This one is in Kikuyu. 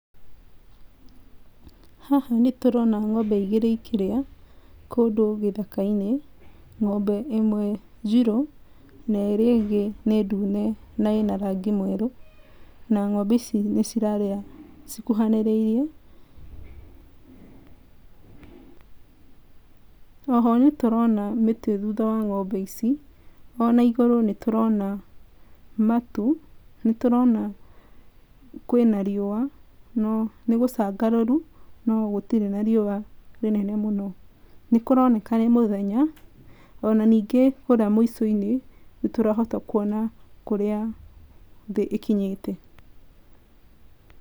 Haha nĩ tũrona ng'ombe igĩrĩ ikĩrĩa kũndũ gĩthaka-inĩ, ng'ombe ĩmwe njirũ na ĩrĩa ĩngĩ nĩ ndune na ĩna rangi mwerũ, na ng'ombe ici nĩ cirarĩa cikuhanĩrĩirie. Oho nĩ tũrona mĩti thutha wa ng'ombe ici, ona igũrũ nĩtũrona matu, nĩ tũrona kwĩna riũa na nĩ gũcangararu no gũtirĩ na riũa rĩnene mũno, nĩ kũroneka nĩ mũthenya ona ningĩ kũrĩa mũco-inĩ nĩ tũrahota kũona kũrĩa thĩ ĩkinyĩte.